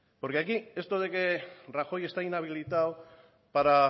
porque aquí esto de que rajoy está inhabilitado para